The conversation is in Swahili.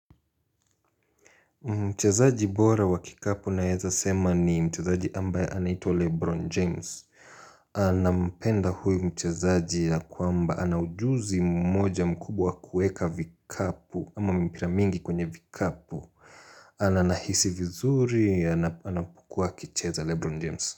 Mchezaji bora wa kikapu naeza sema ni mchezaji ambaye anaitwa Lebron James nampenda huyu mchezaji ya kwamba ana ujuzi mmoja mkubwa kueka vikapu ama mpira mingi kwenye vikapu na nahisi vizuri ya anapokuwa akicheza Lebron James.